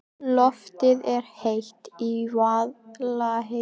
Loftið er heitt í Vaðlaheiðargöngum.